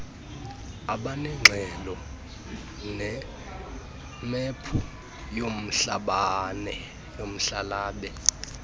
abanengxelo nemephu yomhlabale